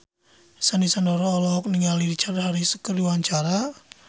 Sandy Sandoro olohok ningali Richard Harris keur diwawancara